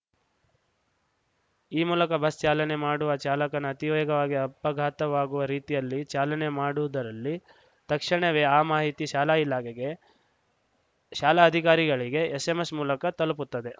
ಈ ಮೂಲಕ ಬಸ್‌ ಚಾಲನೆ ಮಾಡುವ ಚಾಲಕನ ಅತಿವೇಗವಾಗಿ ಅಪಘಾತವಾಗುವ ರೀತಿಯಲ್ಲಿ ಚಾಲನೆ ಮಾಡುವುದರಲ್ಲಿ ತಕ್ಷಣವೇ ಆ ಮಾಹಿತಿ ಶಾಲಾ ಇಲಾಖೆಗೆ ಶಾಲಾ ಅಧಿಕಾರಿಗಳಿಗೆ ಎಸ್‌ಎಂಎಸ್‌ ಮೂಲಕ ತಲುಪುತ್ತದೆ